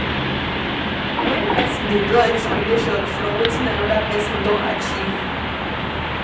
When person dey draw inspiration from wetin anoda person don achieve